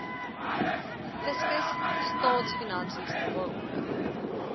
fiskus staatsfinansies waaronder